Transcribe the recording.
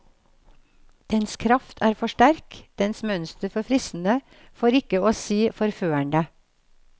Dens kraft er for sterk, dens mønster for fristende, for ikke å si forførende.